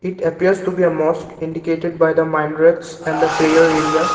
it appears to be a mosque indicated by the minarets and the prayer area.